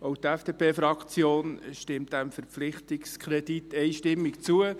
Auch die FDP-Fraktion stimmt diesem Verpflichtungskredit einstimmig zu.